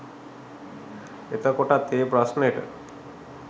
එතකොටත් ඒ ප්‍රශ්නෙට